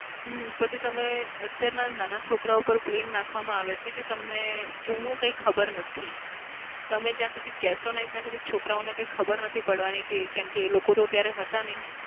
હમ પછી તમે અત્યારના નાના છોકરાઓ પર blame નાખવામાં આવે છે કે તમને જુનું કઈ ખબર નથી. તમે જ્યાં સુધી કેશો નઈ ત્યાં સુધી છોકરાઓને ખબર નથી પડવાની કેમ કે એ લોકો તો ત્યારે હતા નઈ.